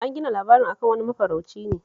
An gina labarin a kan wani mafarauci ne